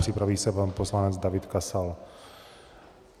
Připraví se pan poslanec David Kasal.